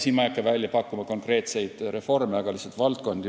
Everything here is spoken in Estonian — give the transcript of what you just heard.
Siin ma ei hakka välja pakkuma konkreetseid reforme, aga toon lihtsalt esile mõne valdkonna.